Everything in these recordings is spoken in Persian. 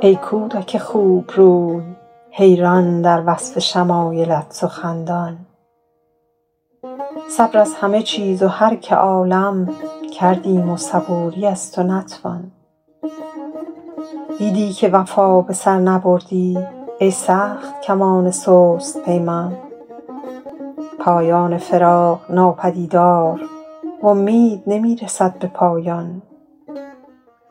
ای کودک خوبروی حیران در وصف شمایلت سخندان صبر از همه چیز و هر که عالم کردیم و صبوری از تو نتوان دیدی که وفا به سر نبردی ای سخت کمان سست پیمان پایان فراق ناپدیدار و امید نمی رسد به پایان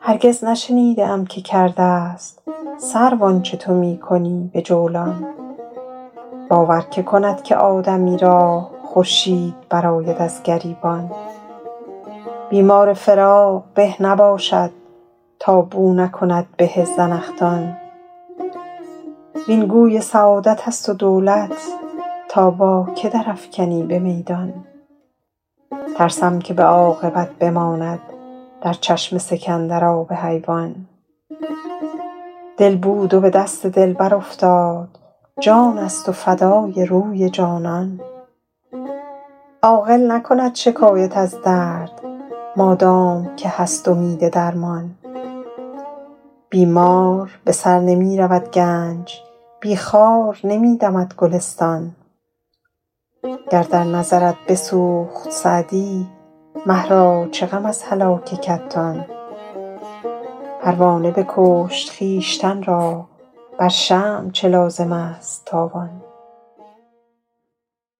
هرگز نشنیده ام که کرده ست سرو آنچه تو می کنی به جولان باور که کند که آدمی را خورشید برآید از گریبان بیمار فراق به نباشد تا بو نکند به زنخدان وین گوی سعادت است و دولت تا با که در افکنی به میدان ترسم که به عاقبت بماند در چشم سکندر آب حیوان دل بود و به دست دلبر افتاد جان است و فدای روی جانان عاقل نکند شکایت از درد مادام که هست امید درمان بی مار به سر نمی رود گنج بی خار نمی دمد گلستان گر در نظرت بسوخت سعدی مه را چه غم از هلاک کتان پروانه بکشت خویشتن را بر شمع چه لازم است تاوان